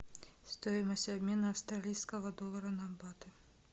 стоимость обмена австралийского доллара на баты